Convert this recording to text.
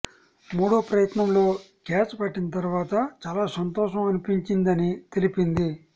మూడో ప్రయత్నంలో క్యాచ్ పట్టిన తర్వాత చాలా సంతోషం అనిపించిందని తెలిపింది